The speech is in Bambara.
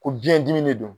Ko biɲɛ dimi de don